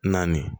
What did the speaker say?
Naani